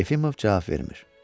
Yefimov cavab vermir.